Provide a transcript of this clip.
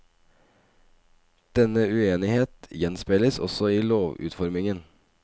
Denne uenighet gjenspeiles også i lovutformingen.